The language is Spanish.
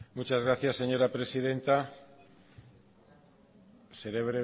muchas gracias señora presidenta seré